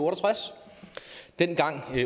og tres dengang